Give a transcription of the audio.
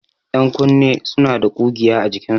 Ƴankunne suna da ƙugiya a jikinsu.